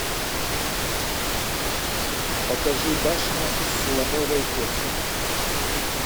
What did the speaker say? покажи башня из слоновой кости